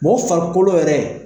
Mɔgɔ farikolo yɛrɛ